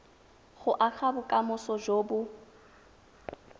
go aga bokamoso jo bo